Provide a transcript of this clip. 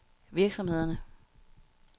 virksomhederne